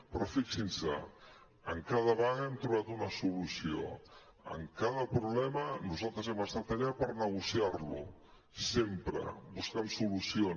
però fixin se en cada vaga hem trobat una solució en cada problema nosaltres hem estat allà per negociar lo sempre buscant solucions